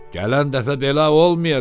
Gələn dəfə belə olmayacaq!